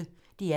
DR P1